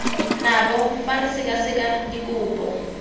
nabo fa re sekaseka dikopo